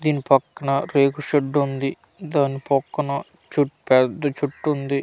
దీని పక్కన రేకు షెడ్ ఉంది దాని పక్కన చుట్ పేద్ద చెట్టుంది.